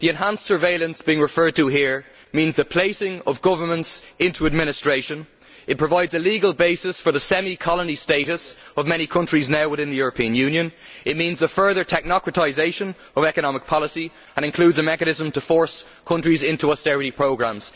The enhanced surveillance being referred to here means the placing of governments into administration, it provides a legal basis for the semi colony status of many countries now within the European Union, it means the further technocratisation of economic policy and includes a mechanism to force countries into austerity programmes.